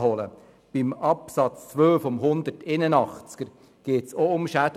Bei Artikel 181 Absatz 2 geht es ebenfalls um Schäden.